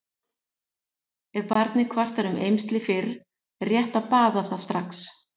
Ef barnið kvartar um eymsli fyrr er rétt að baða það strax.